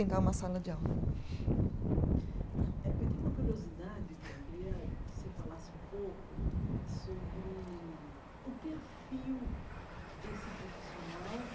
uma sala de aula. Eu tenho uma curiosidade, que eu queria que você falasse um pouco sobre o perfil desse profissional